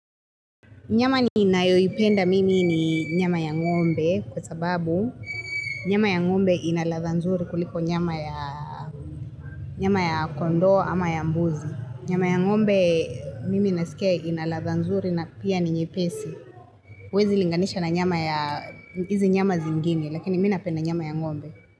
Nyama ninayoipenda mimi ni nyama ya ngombe kwa sababu nyama ya ngombe inaladha nzuri kuliko nyama ya nyama ya kondoo ama ya mbuzi. Nyama ya ngombe mimi nasikia ina ladha nzuri na pia ni nyepesi. Huwezi linganisha na nyama ya hizi nyama zingine lakini mii napenda nyama ya ngombe.